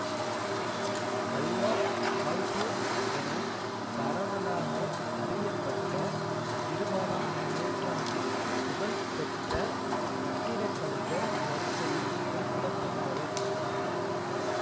Alwar Aalto என பரவலாக அறியப்பட்ட இருபதாம் நூற்றாண்டின் புகழ் பெற்ற கட்டிடக்கலைஞர் வரிசையில் குறிப்பிடத்தக்கவர்